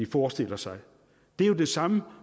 forestiller sig det er jo det samme